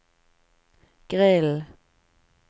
grillen